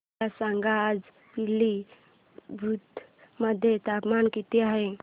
मला सांगा आज पिलीभीत मध्ये तापमान किती आहे